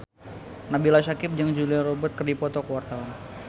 Nabila Syakieb jeung Julia Robert keur dipoto ku wartawan